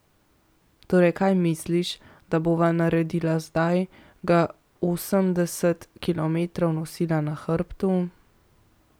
Torej kaj misliš, da bova naredila zdaj, ga osemdeset kilometrov nosila na hrbtu?